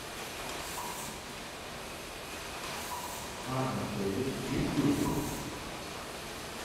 анна фэрис есть ли у тебя